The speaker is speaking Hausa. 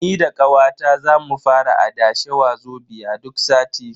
Ni da kawata za mu fara adashe Wazobia duk sati.